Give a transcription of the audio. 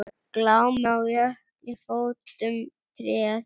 Glámu á jökli fótum treð.